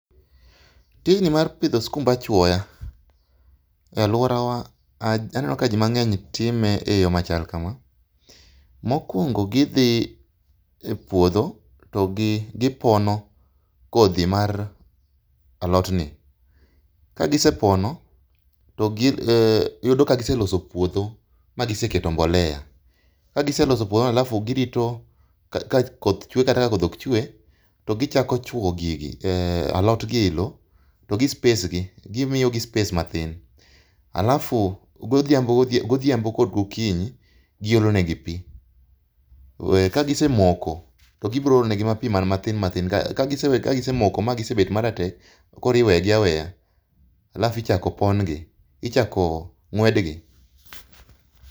Tijni mar pidho skumb achwoya e alworawa aneno ka jimang'eny time e yo machal kama. Mokwongo gidhi e puodho to gi gipono kodhi mar alotni. Kagisepono to gi, eh, yudo ka giseloso puodho ma giseketo mbolea. Kagiseloso puodhono, alafu girito ka koth chwe kata ka koth ok chwe, to gichako chwo gigi eh, alotgi e lo. To gi space gi, gimiyogi space mathin. Halafu godhiambo godhia, godhiambo kod okinyi, giolone gi pi. We ka gisemoko to gibiro olonegi ma pi mana mathin mathin. Kagisewe kagisemoko ma gisebet maratek to koriwegi aweya. Halafu ichako pon gi, ichako ng'wed gi.